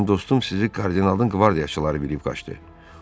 Mənim dostum sizi kardinalın qvardiyaçıları bilib qaçdı.